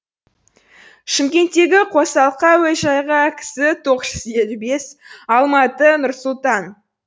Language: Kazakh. шымкенттегі қосалқы әуежайға кс тоғыз жүз елу бес алматы нұр сұлтан